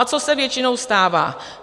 A co se většinou stává?